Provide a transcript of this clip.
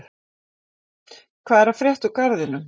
Hvað er að frétta úr Garðinum?